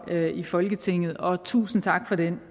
her i folketinget og tusind tak for den